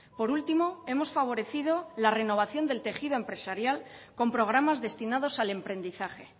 por último hemos favorecido la renovación del tejido empresarial con programas destinados al emprendizaje